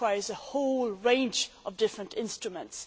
This requires a whole range of different instruments.